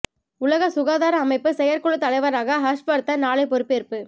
உலக சுகாதார அமைப்பு செயற்குழு தலைவராக ஹர்ஷ் வர்த்தன் நாளை பொறுப்பேற்பு